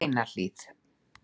Steinahlíð